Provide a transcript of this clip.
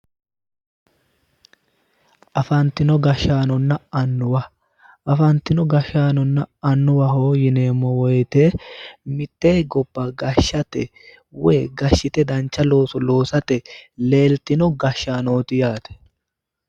Afantino gashshaanonna annuwaho afantino gashshaanonna annuwa yineemmo woyte mitte gobba gashshat woy gashshite dancha looso loosate leeltino gashshannoti